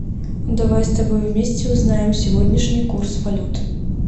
давай с тобой вместе узнаем сегодняшний курс валют